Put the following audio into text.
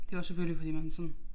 Det jo også selvfølgelig fordi man sådan